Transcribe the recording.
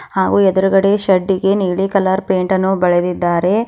ಹಾಗು ಎದ್ರುಗಡೆ ಶೆಡ್ಡಿಗೆ ನೀಲಿ ಕಲರ್ ಪೇಂಟನ್ನು ಬೆಳೆದಿದ್ದಾರೆ.